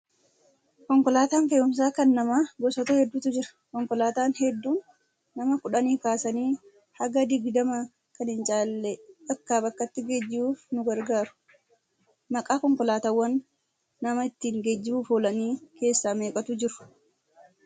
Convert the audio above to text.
Konkolaataan fe'umsaa kan namaa gosoota hedduutu jira. Konkolaataan hedduun nama kudhanii kaasanii haga digdamaa kan hin caalle bakkaa bakkatti geejjibuuf nu gargaaru. Maqaa konkolaataawwan nama ittiin geejjibuuf oolanii gosa meeqatu jiru?